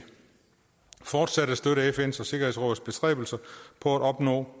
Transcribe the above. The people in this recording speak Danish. fortsat at støtte fn’s og sikkerhedsrådets bestræbelser på at opnå